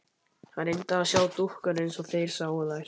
Hann reyndi að sjá dúkkuna eins og þeir sáu þær.